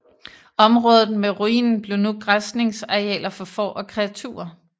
Området med ruinen blev nu græsningsarealer for får og kreaturer